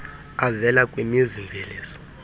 avela kwimizi mveliso